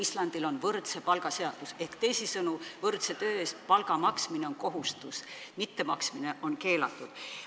Islandil on võrdse palga seadus, teisisõnu, võrdse töö eest palga maksmine on kohustus, seda mitte maksta on keelatud.